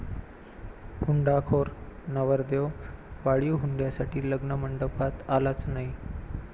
हुंडाखोर' नवरदेव, वाढीव हुंड्यासाठी लग्नमंडपात आलाच नाही!